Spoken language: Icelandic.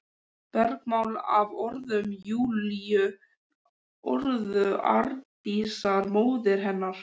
Bergmál af orðum Júlíu, orðum Arndísar, móður hennar.